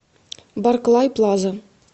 барклай плаза